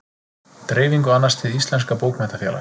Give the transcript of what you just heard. Dreifingu annast Hið íslenska bókmenntafélag.